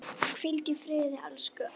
Hvíldu í friði, elsku Alda.